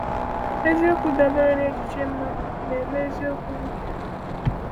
Eziokwu dabere n’echiche-mmadụ na-eme eziokwu nke ha.